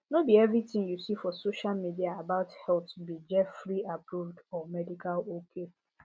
no be every thing you see for social media about health be jefferyapproved or medical ok